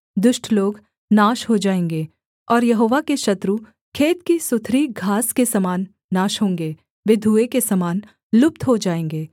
दुष्ट लोग नाश हो जाएँगे और यहोवा के शत्रु खेत की सुथरी घास के समान नाश होंगे वे धुएँ के समान लुप्त‍ हो जाएँगे